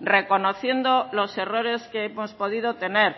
reconociendo los errores que hemos podido tener